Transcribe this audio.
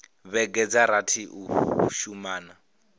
vhege dza rathi u shumana